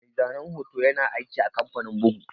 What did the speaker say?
Mai zane hoto ƴana aiki a kamfanin ɓuga.